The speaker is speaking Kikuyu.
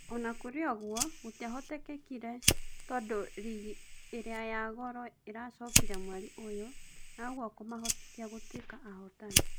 Onakũrĩoũguo gũtiahotekire tondũ rigi ĩrĩa ya Goro ĩracokire mweri ũyũ na ũguo kũmahotithia gũtuĩka ahotani.